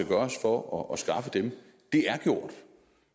gøres for at skaffe dem er gjort